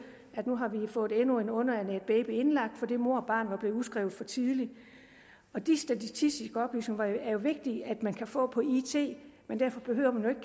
at nu havde man fået endnu en underernæret baby indlagt fordi mor og barn var blevet udskrevet for tidligt de statistiske oplysninger er det vigtigt at man kan få på it men derfor behøver man